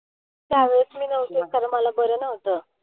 त्यावेळेस मी नव्हते कारण मला बरं नव्हतं.